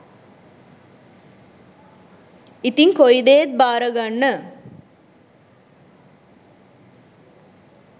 ඉතිං කොයිදේත් භාරගන්න